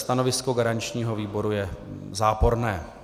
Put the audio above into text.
Stanovisko garančního výboru je záporné.